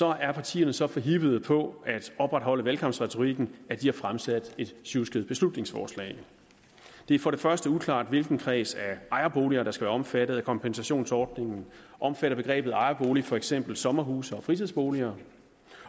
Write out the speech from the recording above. er partierne så forhippede på at opretholde valgkampretorikken at de har fremsat et sjusket beslutningsforslag det er for det første uklart hvilken kreds af ejerboliger der skal være omfattet af kompensationsordningen omfatter begrebet ejerbolig for eksempel sommerhuse og fritidsboliger